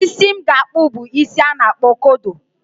Isi m ga-akpụ bụ isi a na-akpọ kodo